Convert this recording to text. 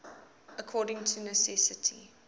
according to necessity